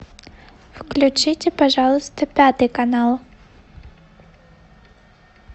включите пожалуйста пятый канал